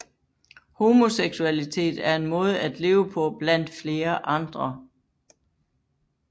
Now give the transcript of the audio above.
Homoseksualitet er en måde at leve på blandt flere andre